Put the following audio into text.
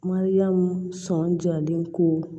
Mariyamu sɔnjalen ko